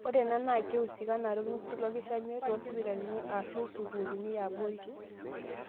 Ore ena naa keihusikanare olngusil olkishamiet toosipitalini aashu sukuuli ebaare,.